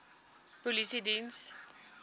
polisiediens